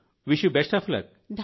wish you best of luck